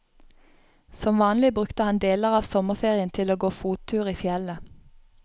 Som vanlig brukte han deler av sommerferien til å gå fottur i fjellet.